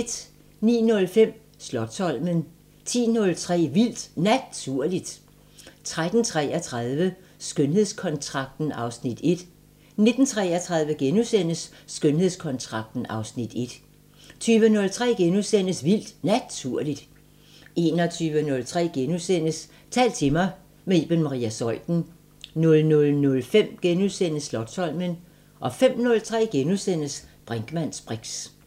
09:05: Slotsholmen 10:03: Vildt Naturligt 13:33: Skønhedskontrakten (Afs. 1) 19:33: Skønhedskontrakten (Afs. 1)* 20:03: Vildt Naturligt * 21:03: Tal til mig – med Iben Maria Zeuthen * 00:05: Slotsholmen * 05:03: Brinkmanns briks *